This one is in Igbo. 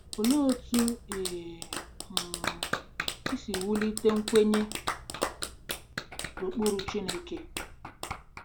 Olee otú i um si wulite nkwenye n’ụkpụrụ Chineke?